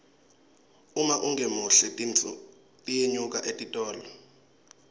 uma ungemuhle tinfo tiyenyuka etitolo